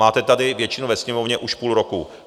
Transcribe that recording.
Máte tady většinu ve Sněmovně už půl roku.